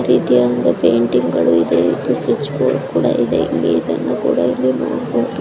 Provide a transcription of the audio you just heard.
ಈ ರಿತಿಯ ಒಂದು ಪೆಂಟಿಗಳು ಇದೆ ಒಂದು ಸ್ವಿಚ್‌ ಬೊರ್ಡ ಕುಡ ಇದೆ ಇಲ್ಲಿ ಇದನ್ನು ಕುಡ ನೊಡಬಹುದು .